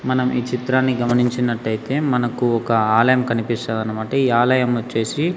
మనం ఈ చిత్రాన్ని గమనించినట్టయితే మనకు ఒక ఆలయం కనిపిస్తది అన్నమాట ఈ ఆలయం వచ్చేసి.